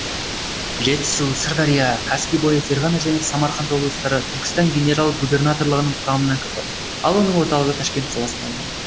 жетісу сырдария каспий бойы ферғана және самарқан облыстары түркістан генерал губернаторлығының құрамына кірді ал оның орталығы ташкент қаласына айналды